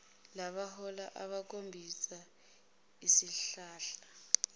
wabahola wayobakhombisa isihlahla